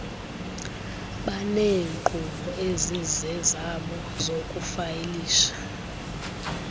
baneenkqubo ezizezabo zokufayilisha